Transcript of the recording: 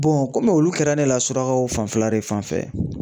kɔmi olu kɛra ne la surakaw fanfɛla de fanfɛ.